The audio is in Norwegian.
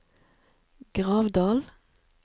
Gravdal